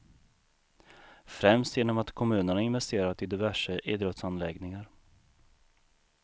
Främst genom att kommunerna investerat i diverse idrottsanläggningar.